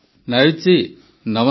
ନାୱିଦ୍ ଜୀ ନମସ୍କାର